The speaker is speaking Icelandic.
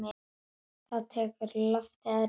Þá tekur loftið að rísa.